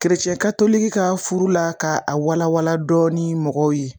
ka furu la ka a walawala dɔɔni mɔgɔw ye